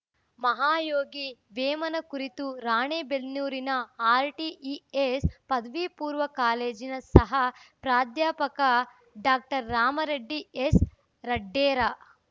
ಮಹಾಯೋಗಿ ವೇಮನ ಕುರಿತು ರಾಣಿ ಬೆನ್ನೂರಿನ ಆರ್‌ಟಿಇಎಸ್‌ ಪದವಿ ಪೂರ್ಣ ಕಾಲೇಜಿನ ಸಹ ಪ್ರಾಧ್ಯಾಪಕ ಡಾಕ್ಟರ್ ರಾಮರೆಡ್ಡಿ ಎಸ್‌ ರಡ್ಡೇರ